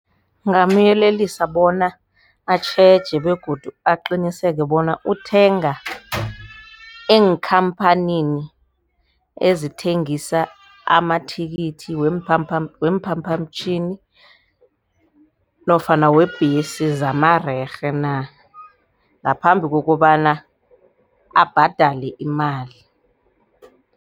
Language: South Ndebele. Ngingamyelelisa bona atjheje begodu aqiniseke bona uthenga eenkhamphanini ezithengisa amathikithi weemphaphamtjhini nofana webhesi zamarerhe na, ngaphambi kokobana abhadele imali.